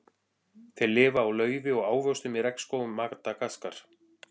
Þeir lifa á laufi og ávöxtum í regnskógum Madagaskar.